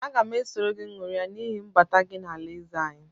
Aga m eso gị nwụria n’ihi mbata gị n’alaeze anyị